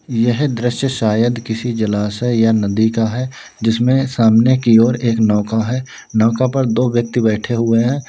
यह दृश्य शायद किसी जलाशय या नदी का है जिसमें सामने की ओर एक नौका है नौका पर दो व्यक्ति बैठे हुए हैं।